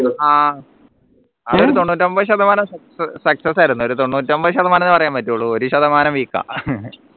ആഹ് അതൊരു തൊണ്ണൂറ്റൊമ്പത് ശതമാനം success ആയിരുന്നു രു തൊണ്ണൂറ്റൊമ്പത് ശതമാനം പറയാൻ പറ്റുള്ളൂ ഒരു ശതമാനം weak ആഹ്